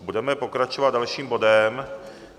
Budeme pokračovat dalším bodem.